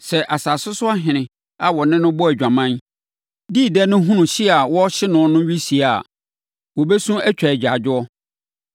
“Sɛ asase so ahene a wɔne no bɔɔ adwaman, dii dɛ no hunu hye a wɔrehye no no wisie a, wɔbɛsu atwa agyaadwoɔ.